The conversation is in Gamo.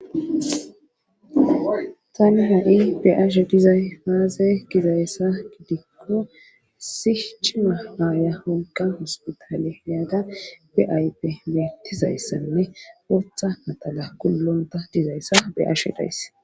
Tani ha7i be7ashe dizay paaze gizayssa gidikko issi cima aaya honqa hospitaale yaada be ayppe betizayssanne ootha matala kullonta dizayssa be7ashe dayse.